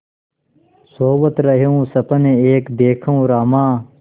सोवत रहेउँ सपन एक देखेउँ रामा